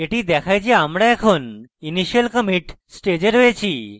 এটি দেখায় যে আমরা এখন initial commit stage রয়েছি